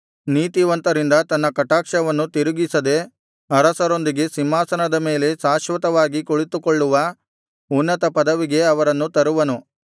ನೀತಿವಂತರಿಂದ ತನ್ನ ಕಟಾಕ್ಷವನ್ನು ತಿರುಗಿಸದೆ ಅರಸರೊಂದಿಗೆ ಸಿಂಹಾಸನದ ಮೇಲೆ ಶಾಶ್ವತವಾಗಿ ಕುಳಿತುಕೊಳ್ಳುವ ಉನ್ನತಪದವಿಗೆ ಅವರನ್ನು ತರುವನು